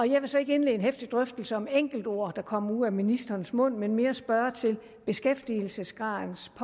jeg vil så ikke indlede en heftig drøftelse om enkeltord er kommet ud af ministerens mund men mere spørge til beskæftigelsesgradens